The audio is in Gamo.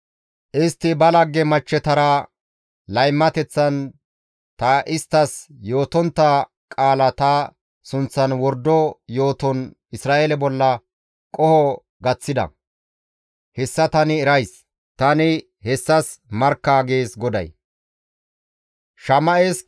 Istti ba laggeta machchetara laymateththan ta isttas yootontta qaala ta sunththan wordo yooton Isra7eele bolla qoho gaththida; hessa tani erays; tani hessas markka» gees GODAY.